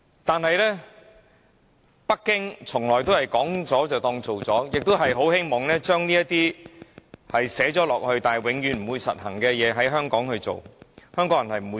但是，北京從來都是說了便當做了，亦很希望將這些寫明但永遠不會實行的事項在香港落實。